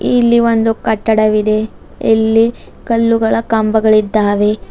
ಇಲ್ಲಿ ಒಂದು ಕಟ್ಟಡವಿದೆ ಇಲ್ಲಿ ಕಲ್ಲುಗಳ ಕಂಬಗಳಿದ್ದಾವೆ.